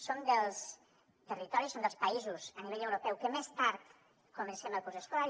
som dels territoris som dels països a nivell europeu que més tard comencem el curs escolar